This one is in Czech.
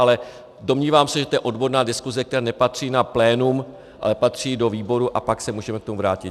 Ale domnívám se, že to je odborná diskuse, která nepatří na plénum, ale patří do výboru, a pak se můžeme k tomu vrátit.